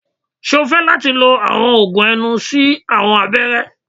Ṣe o fẹ lati lo awọn oogun ẹnu si awọn abẹrẹ?